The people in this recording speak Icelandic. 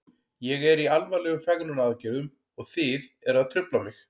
Ég er í alvarlegum fegrunaraðgerðum og þið eruð að trufla mig.